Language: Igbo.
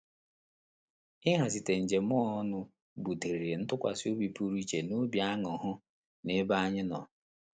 Ihazikata njem a ọnụ butere ntụkwasịobi pụrụ iche na obi aṅurhu na ebe anyị nọ